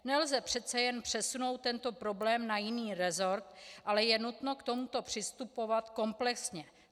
Nelze přece jen přesunout tento problém na jiný rezort, ale je nutno k tomuto přistupovat komplexně.